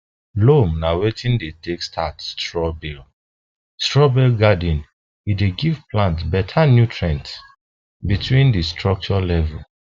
loam na wetin dem take start straw bale straw bale garden e dey give plant better nutrients between di structure levels